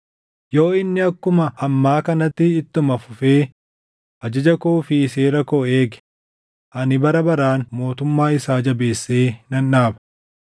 Yoo inni akkuma ammaa kanatti ittuma fufee ajaja koo fi seera koo eege ani bara baraan mootummaa isaa jabeessee nan dhaaba.’